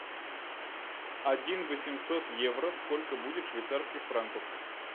один восемьсот евро сколько будет швейцарских франков